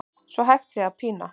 svo hægt sé að pína